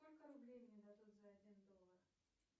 сколько рублей мне дадут за один доллар